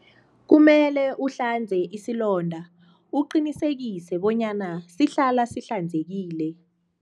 Kumele uhlanze isilonda uqinisekise bonyana sihlala sihlanzekile.